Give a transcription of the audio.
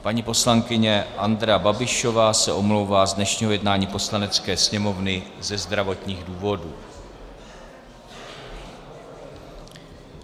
Paní poslankyně Andrea Babišová se omlouvá z dnešního jednání Poslanecké sněmovny ze zdravotních důvodů.